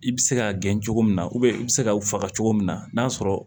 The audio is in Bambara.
I bɛ se k'a gɛn cogo min na i bɛ se k'a faga cogo min na n'a sɔrɔ